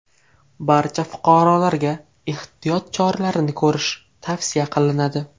Barcha fuqarolarga ehtiyot choralarini ko‘rish tavsiya qilinadi.